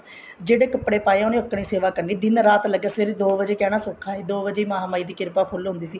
ਜਿਹੜੇ ਕੱਪੜੇ ਪਾਏ ਉਹਨੇ ਉਸ ਤਰ੍ਹਾਂ ਹੀ ਸੇਵਾ ਕਰਨੀ ਦਿਨ ਰਾਤ ਲੱਗਿਆ ਸਵੇਰੇ ਦੋ ਵਜੇ ਜਾਣਾ ਸੋਖਾ ਨੀ ਦੋ ਵਜੇ ਮਹਾ ਮਾਈ ਦੀ ਕਿਰਪਾ ਫੁੱਲ ਹੁੰਦੀ ਸੀ